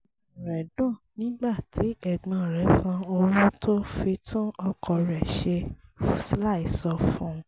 inú rẹ̀ dùn nígbà tí ẹ̀gbọ́n rẹ̀ san owó tó fi tún ọkọ̀ rẹ̀ ṣe láìsọ fún un